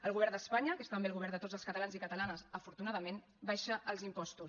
el govern d’espanya que és també el govern de tots els catalans i catalanes afortunadament abaixa els impostos